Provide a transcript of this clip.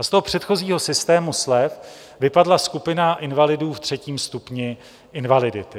A z toho předchozího systému slev vypadla skupina invalidů ve třetím stupni invalidity.